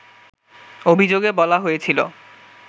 অভিযোগে বলা হয়েছিল